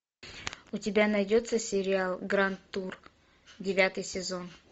у тебя найдется сериал гранд тур девятый сезон